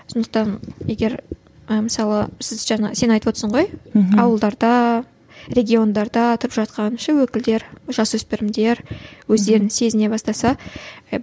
сондықтан егер і мысалы сіз жаңа сен айтывотсың ғой мхм ауылдарда региондарда тұрып жатқан ше өкілдер жасөспірімдер өздерін сезіне бастаса иә